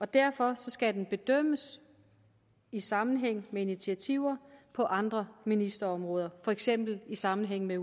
derfor skal den bedømmes i sammenhæng med initiativer på andre ministerområder for eksempel i sammenhæng med